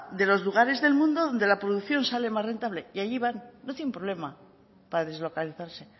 de los lugares del mundo donde la producción sale más rentable y allí van no tienen problema para deslocalizarse